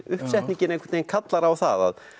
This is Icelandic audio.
uppsetningin einhvern veginn kallar á það